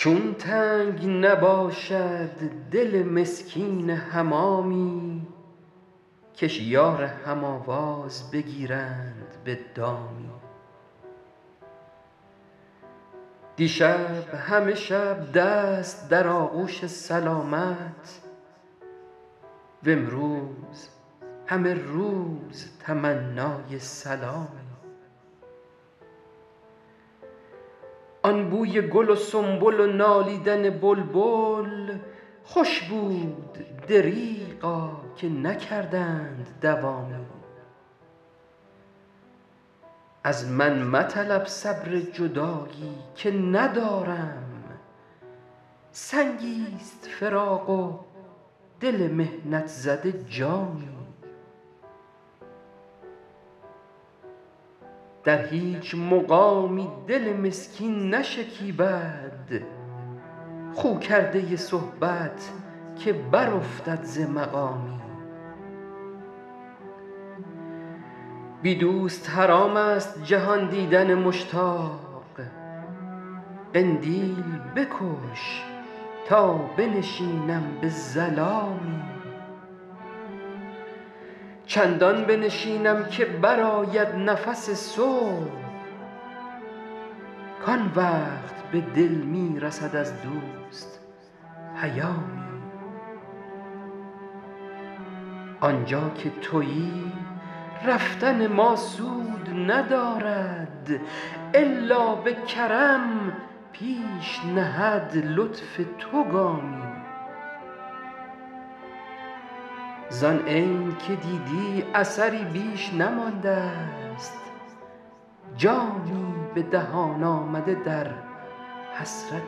چون تنگ نباشد دل مسکین حمامی کش یار هم آواز بگیرند به دامی دیشب همه شب دست در آغوش سلامت وامروز همه روز تمنای سلامی آن بوی گل و سنبل و نالیدن بلبل خوش بود دریغا که نکردند دوامی از من مطلب صبر جدایی که ندارم سنگی ست فراق و دل محنت زده جامی در هیچ مقامی دل مسکین نشکیبد خو کرده صحبت که برافتد ز مقامی بی دوست حرام است جهان دیدن مشتاق قندیل بکش تا بنشینم به ظلامی چندان بنشینم که برآید نفس صبح کآن وقت به دل می رسد از دوست پیامی آن جا که تویی رفتن ما سود ندارد الا به کرم پیش نهد لطف تو گامی زآن عین که دیدی اثری بیش نمانده ست جانی به دهان آمده در حسرت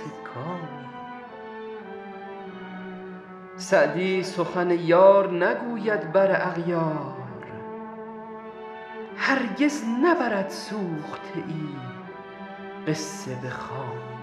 کامی سعدی سخن یار نگوید بر اغیار هرگز نبرد سوخته ای قصه به خامی